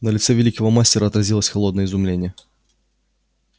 на лице великого мастера отразилось холодное изумление